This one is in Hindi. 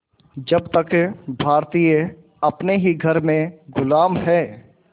जब तक भारतीय अपने ही घर में ग़ुलाम हैं